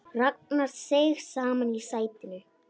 Ragnar seig saman í sætinu.